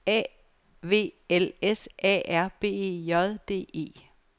A V L S A R B E J D E